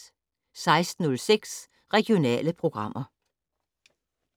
16:06: Regionale programmer